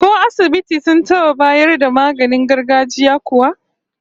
Ko asibiti sun taba bayar da maganin gargajiya kuwa?